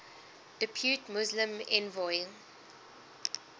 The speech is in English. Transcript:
depute muslim envoy